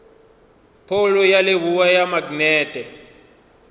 phoulo ya leboa ya maknete